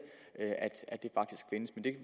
at